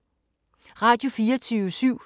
Radio24syv